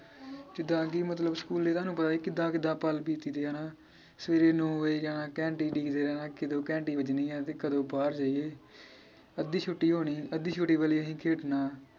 ਜਿਦਾਂ ਕਿ ਮਤਲਬ ਸਕੂਲ ਇਹਨਾਂ ਨੂੰ ਪਤਾ ਸੀ ਕਿਦਾਂ ਕਿਦਾਂ ਪਲ ਬੀਤਦੇ ਆ ਨਾ ਸਵੇਰੇ ਨੌ ਵਜੇ ਜਾਣਾ ਘੰਟੀ ਡੀਕਦੇ ਰਹਿਣਾ ਕਿਦੋਂ ਘੰਟੀ ਵੱਜਣੀ ਆ ਤੇ ਕਦੋਂ ਬਾਹਰ ਜਾਈਏ ਅੱਧੀ ਛੁੱਟੀ ਹੋਣੀ ਅੱਧੀ ਛੁੱਟੀ ਵੇਲੇ ਅਹੀਂ ਖੇਡਣਾ